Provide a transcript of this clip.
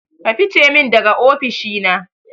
Ka fice min daga ofishi na